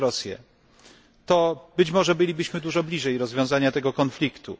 przez Rosję, to być może bylibyśmy dużo bliżej rozwiązania tego konfliktu.